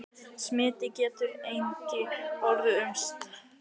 Smit getur einnig orðið um sár.